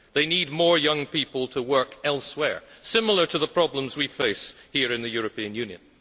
They need more young people to work elsewhere, similar to the problems we face here in the European Union.